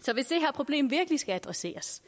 så hvis det her problem virkelig skal adresseres